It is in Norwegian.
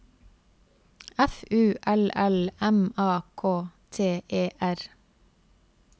F U L L M A K T E R